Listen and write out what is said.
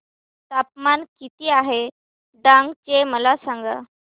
तापमान किती आहे डांग चे मला सांगा